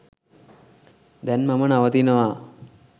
දැන් මම නවතිනවා.